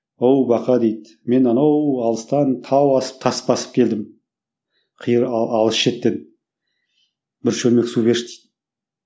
оу бақа дейді мен анау алыстан тау асып тас басып келдім қиыр алыс шеттен бір шөлмек су берші дейді